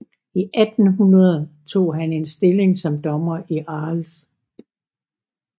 I 1800 tog han en stilling som dommer i Arles